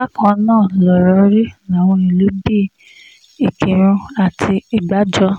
bákan náà lọ̀rọ̀ rí láwọn ìlú bíi ìkírùn àti ìgbàjọ